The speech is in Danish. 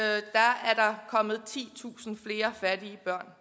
har kommet titusind flere fattige børn